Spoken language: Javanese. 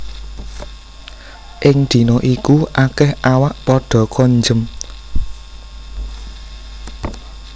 Ing dina iku akèh awak padha konjem